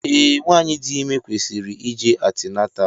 Ee, nwanyị dị ime kwesịrị ije antinatal